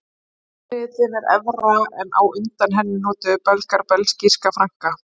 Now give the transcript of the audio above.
Gjaldmiðillinn er evra en á undan henni notuðu Belgar belgíska franka.